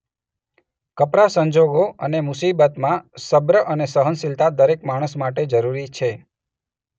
કપરા સંજોગો અને મુસીબતમાં સબ્ર અને સહનશીલતા દરેક માણસ માટે જરૂરી છે.